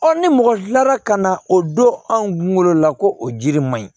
ni mɔgɔ kilala ka na o don anw kunkolo la ko o jiri man ɲi